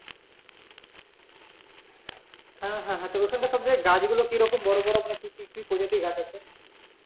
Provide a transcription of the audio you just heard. হ্যা হ্যা তো ওখানে সব জায়গায় গাছগুলো কিরকম বড় বড় মানে কি কি প্রজাতির গাছ আছে?